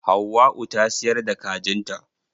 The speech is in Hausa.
Hauwau ta siyar da kajin ta.